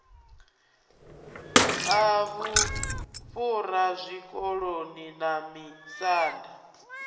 a vhufhura zwikoloni na misanda